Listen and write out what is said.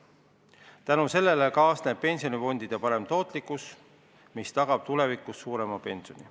Tänu sellele kasvab pensionifondide tootlikkus, mis tagab tulevikus suurema pensioni.